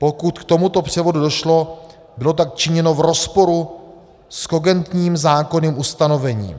Pokud k tomuto převodu došlo, bylo tak činěno v rozporu s kogentním zákonným ustanovením.